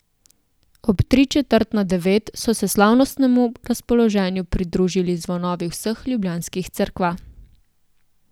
Ob tri četrt na devet so se slavnostnemu razpoloženju pridružili zvonovi vseh ljubljanskih cerkva.